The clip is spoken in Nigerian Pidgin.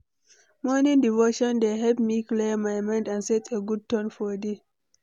Morning devotion dey help me clear my mind and set a good tone for day.